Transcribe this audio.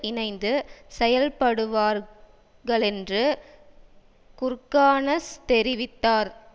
இணைந்து செயல்படுவார்களென்று குர்கானஸ் தெரிவித்தார்